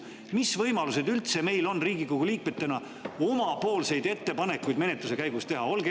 Mis võimalused meil üldse Riigikogu liikmetena on ka oma ettepanekuid menetluse käigus teha?